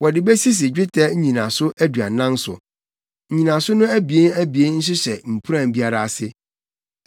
Wɔde besisi dwetɛ nnyinaso aduanan so; nnyinaso no abien abien nhyehyɛ mpuran biara ase.